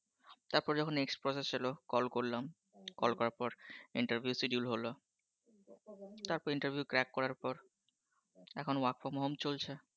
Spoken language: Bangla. তারপর যখন next process এল call করলাম call করার পর interview schedule হল। তারপর interviewcrack করার পর। এখন work from home চলছে